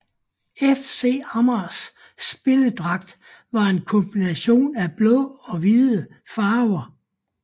FC Amagers spilledragt var en kombination af blå og hvide farver